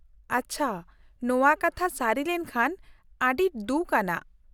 ᱟᱪᱪᱷᱟ, ᱱᱚᱶᱟ ᱠᱟᱛᱷᱟ ᱥᱟᱹᱨᱤ ᱞᱮᱱᱠᱷᱟᱱ ᱟᱹᱰᱤ ᱫᱩᱠᱷ ᱟᱱᱟᱜ ᱾